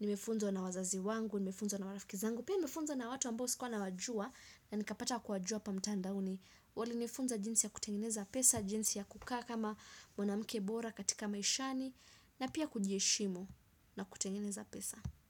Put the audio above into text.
Nimefunzwa na wazazi wangu, nimefunzwa na marafiki zangu. Pia nimefunzwa na watu ambao sikuwa nawajua na nikapata kuwajua hapa mtandaoni. Walinifunza jinsi ya kutengeneza pesa, jinsi ya kukaa kama mwanamke bora katika maishani na pia kujiheshimu na kutengeneza pesa.